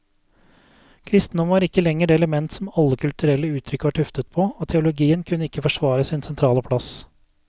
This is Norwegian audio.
Kristendommen var ikke lenger det element som alle kulturelle uttrykk var tuftet på, og teologien kunne ikke forsvare sin sentrale plass.